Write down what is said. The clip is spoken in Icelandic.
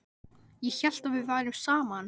Ég hélt að við værum saman!